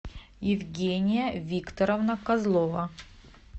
евгения викторовна козлова